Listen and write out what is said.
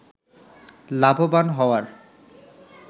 লাভবান হওয়ার